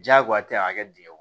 Diyagoya tɛ a kɛ dingɛ kɔnɔ